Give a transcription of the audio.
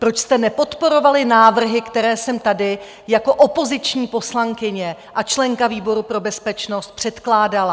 Proč jste nepodporovali návrhy, které jsem tady jako opoziční poslankyně a členka výboru pro bezpečnost předkládala?